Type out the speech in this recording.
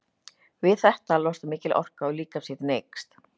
Við þetta losnar mikil orka og líkamshitinn eykst.